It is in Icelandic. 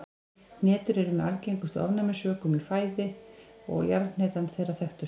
Hnetur eru með algengustu ofnæmisvökum í fæðu og er jarðhnetan þeirra þekktust.